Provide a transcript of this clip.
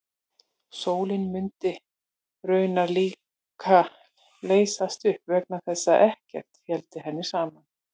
Sólin mundi raunar líka leysast upp vegna þess að ekkert héldi henni saman.